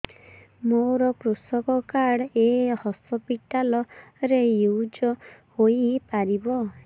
ମୋର କୃଷକ କାର୍ଡ ଏ ହସପିଟାଲ ରେ ୟୁଜ଼ ହୋଇପାରିବ